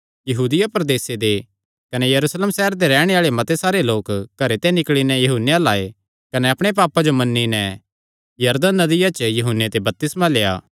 यहूदिया प्रदेसे दे कने यरूशलेम सैहरे दे रैहणे आल़े मते सारे लोक घरे ते निकल़ी नैं यूहन्ने अल्ल आये कने अपणे पापां जो मन्नी नैं यरदन नदिया* च यूहन्ने ते बपतिस्मा लेआ